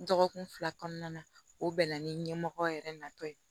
Dɔgɔkun fila kɔnɔna na o bɛnna ni ɲɛmɔgɔ yɛrɛ natɔ ye